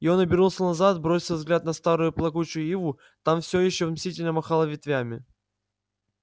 и он обернулся назад бросил взгляд на старую плакучую иву та все ещё мстительно махала ветвями